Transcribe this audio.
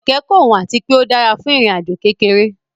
Kẹ̀kẹ́ kò wọ́n àti pé ó dára fún ìrìn àjò kékeré